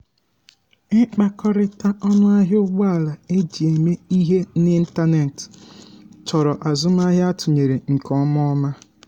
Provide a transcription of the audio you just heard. ndị itinye ego na-ahọrọ portfolio ndị dị iche iche karịa iji belata nchegbu banyere mgbanwe ahịa.